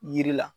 Yiri la